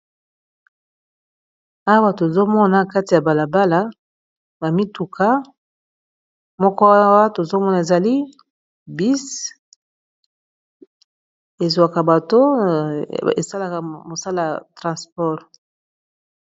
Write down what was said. awa tozomona kati ya balabala bamituka moko awa tozomona ezali bis ezwaka bato esalaka mosala ya transport